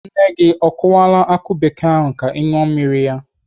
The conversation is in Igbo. Nne gị o kụwala akụ bekee ahụ ka ị ṅụọ mmiri ya?